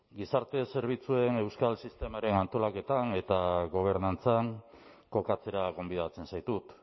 gizarte zerbitzuen euskal sistemaren antolaketan eta gobernantzan kokatzera gonbidatzen zaitut